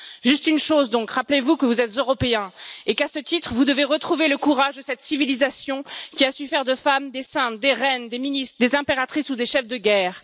Juste une chose donc rappelez vous que vous êtes Européens et qu'à ce titre, vous devez retrouver le courage de cette civilisation qui a su faire de femmes des saintes, des reines, des ministres, des impératrices ou des chefs de guerre.